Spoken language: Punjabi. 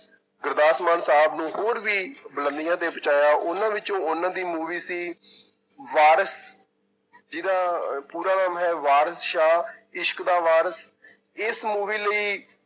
ਗੁਰਦਾਸਮਾਨ ਸਾਹਬ ਨੂੰ ਹੋਰ ਵੀ ਬੁਲੰਦੀਆਂ ਤੇ ਪਹੁੰਚਾਇਆ, ਉਹਨਾਂ ਵਿੱਚੋਂ ਉਹਨਾਂ ਦੀ movie ਸੀ ਵਾਰਿਸ, ਜਿਹਦਾ ਪੂਰਾ ਨਾਮ ਹੈ ਵਾਰਿਸ ਸ਼ਾਹ ਇਸ਼ਕ ਦਾ ਵਾਰਿਸ ਇਸ movie ਲਈ